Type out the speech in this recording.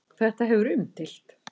Þetta hefur verið umdeilt.